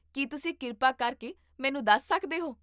ਕੀ ਤੁਸੀਂ ਕਿਰਪਾ ਕਰਕੇ ਮੈਨੂੰ ਦੱਸ ਸਕਦੇ ਹੋ?